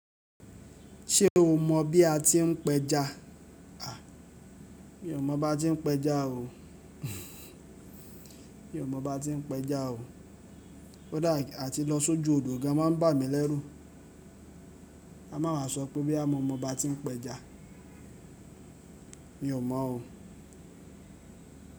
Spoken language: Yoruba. Ṣé o mọ̀ bí a ti ń péja? Àh, mi ò mọ̀ báa tí ń péja o. Mi ò mọ̀ bá tí ń péja o. Kódà a ti lọ sójú odò gan máa ń bà mí lẹ́rù ká má wá sọ pé bóyá mọ̀ mọ̀ baá tí ń péja. Mi ò mọ̀ o.